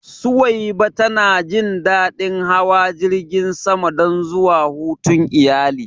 Suwaiba ta na jin daɗin hawa jirgin sama don zuwa hutun iyali